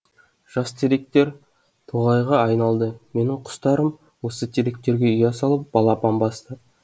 жас теректер тоғайға айналды менің құстарым осы теректерге ұя салып балапан басты